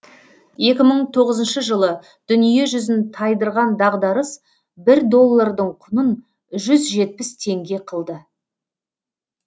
екі мың тоғызыншы жылы дүниежүзін тайдырған дағдарыс бір доллардың құнын жүз жетпіс теңге қылды